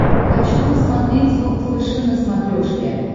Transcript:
хочу посмотреть волд фэшен на смотрешке